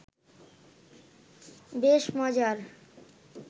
বেশ মজার